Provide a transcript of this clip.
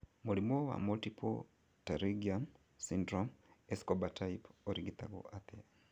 Mũrimũ wa Multiple pterygium syndrome, Escobar type ũrigitagwo atĩa